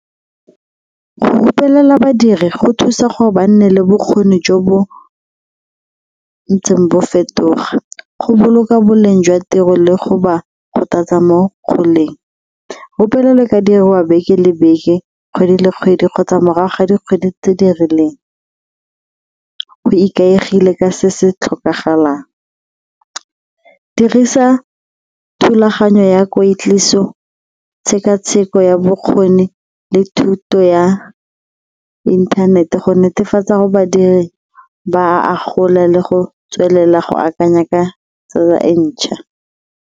Go rupelela badiri go thusa gore ba nne le bokgoni jo bo ntseng bo fetoga, go boloka boleng jwa tiro le go ba kgothatsa mo goleng ka diriwa beke le beke, kgwedi le kgwedi kgotsa morago ga dikgwedi tse di rileng, go ikaegile ka se se tlhokagalang. Dirisa thulaganyo ya kweetliso, tshekatsheko ya bokgoni le thuto ya inthanete go netefatsa gore badiri ba a agola le go tswelela go akanya ka tsa e ntšha.